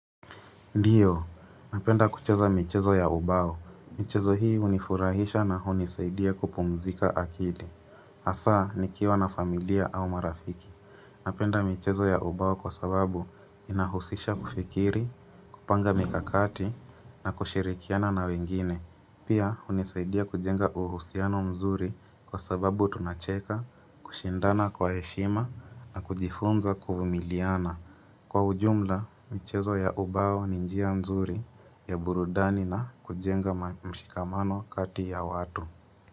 Ndiyo, napenda kucheza michezo ya ubao. Michezo hii hunifurahisha na hunisaidia kupumzika akili. Hasa, nikiwa na familia au marafiki. Napenda michezo ya ubao kwa sababu inahusisha kufikiri, kupanga mikakati na kushirikiana na wengine. Pia, hunisaidia kujenga uhusiano mzuri kwa sababu tunacheka, kushindana kwa heshima na kujifunza kufumiliana. Kwa ujumla, michezo ya ubao ni njia mzuri ya burudani na kujenga mshikamano kati ya watu.